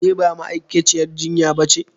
Ke ba ma'aikaciyar jinya ba ce?